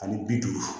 Ani bi duuru